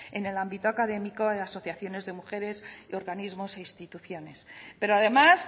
en el ámbito académico de asociaciones de mujeres organismos e instituciones pero además